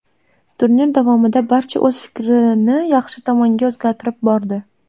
Turnir davomida barcha o‘z fikrini yaxshi tomonga o‘zgartirib bordi.